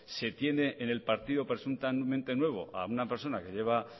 se tiene en el partido presuntamente nuevo a una persona que lleva